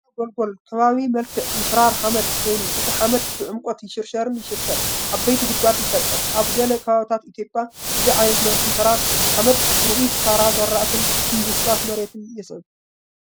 ምሽርሻር ጐልጐል ከቢድ መልክዕ ምሕራር ሓመድ ኮይኑ፡ እቲ ሓመድ ብዕምቆት ይሽርሸርን ይሽርሸርን፡ ዓበይቲ ጉድጓድ ይፈጥር። ኣብ ገለ ከባቢታት ኢትዮጵያ እዚ ዓይነት ምሕራር ሓመድ ርኡይ ክሳራ ዝራእቲን ምብስባስ መሬትን የስዕብ።